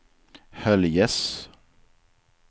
Höljes